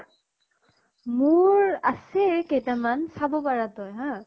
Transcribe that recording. মোৰ আছে কেইটামান চাব পাৰা তই হা